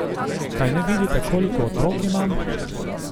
Kaj ne vidita, koliko otrok imam?